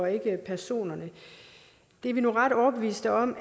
ikke personerne det er vi nu ret overbevist om